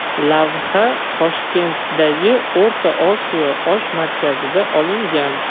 Lavha Toshkentdagi O‘rta Osiyo osh markazida olingan.